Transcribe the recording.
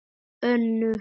Önnur sýn